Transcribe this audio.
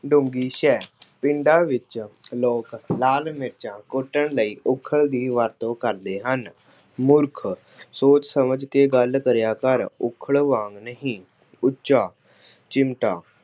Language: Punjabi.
ਡੌਂਗੀਸਹਿ, ਪਿੰਡਾਂ ਵਿੱਚ ਲੋਕ ਲਾਲ ਮਿਰਚਾਂ ਗੁੱਡਣ ਲਈ ਉੱਖਲ ਦੀ ਵਰਤੋਂ ਕਰਦੇ ਹਨ। ਮੂਰਖ, ਸੋਚ ਸਮਝ ਕੇ ਗੱਲ ਕਰਿਆ ਕਰ, ਉੱਖਲ ਵਾਂਗ ਨਹੀਂ। ਉੱਚਾ- ਚਿਮਟਾ